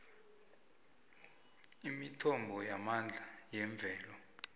imithombo yamandla yemvelo